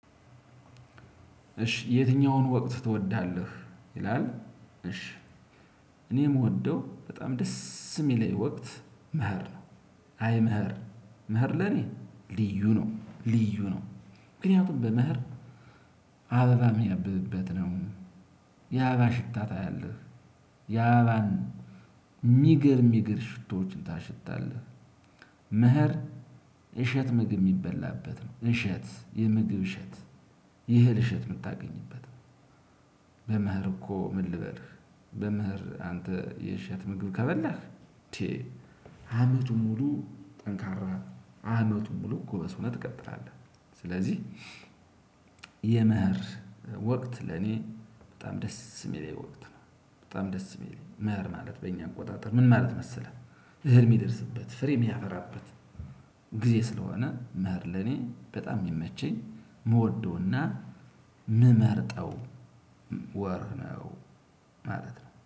እሺ የትኛውን ወቅት ትወዳለህ? ይላል። እሺ። እኔ የምወደው በጣም ደስ! የሚለኝ ወቅት መኸር ነው። አይ መኸር! መኸር ለኔ ልዩ ነው! ልዩ ነው! ምክንያቱም በመኸር አበባ የሚያብብበት ነው፤ የአበባ ሽታ ታያለህ፤ የአበባን የሚገርም የሚገርም ሽቶዎችን ታሸታለህ። መኸር እሸት ምግብ የሚበላበት ነው፤ እሸት! የምግብ እሸት! የእህል እሸት የምታገኝበት ነው። በመኸር እኮ ምን ልበልህ! በመኸር አንተ የእሸት ምግብ ከበላህ! አንዴ! አመቱን ሙሉ ጠንካራ፣ አመቱን ሙሉ ጎበዝ ሆነህ ትቀጥላለህ። ስለዚህ የመኸር ወቅት ለኔ በጣም ደስ የሚለኝ ወቅት ነው። በጣም ደስ የሚለኝ! መኸር ማለት በእኛ አቆጣጠር ምን ማለት መሰለህ? አህል የሚደርስበት፣ ፍሬ የሚያፈራበት ጊዜ ስለሆነ መኸር ለኔ በጣም የሚመቸኝ የምወደውና የምመርጠው ወር ነው ማለት ነው።